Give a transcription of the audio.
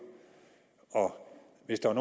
hvis der er